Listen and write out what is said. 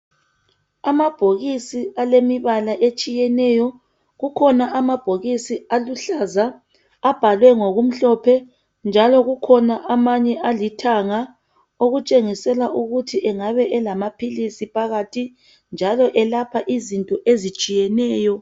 Amabhokisi alemibala etshiyeneyo kukhona amabhokisi aluhlaza abhalwe ngokumhlophe njalo kukhona amanye alithanga okutshengisela ukuthi engabe elamaphilisi phakathi njalo elapha izinto ezitshiyeneyo